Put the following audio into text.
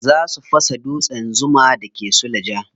Za su fasa dutsen zuma da ke suleja.